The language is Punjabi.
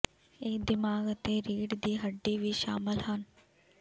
ਇਹ ਦਿਮਾਗ ਅਤੇ ਰੀੜ੍ਹ ਦੀ ਹੱਡੀ ਵੀ ਸ਼ਾਮਲ ਹਨ